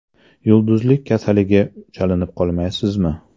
Yulduzlik kasaliga chalinib qolmaysizmi?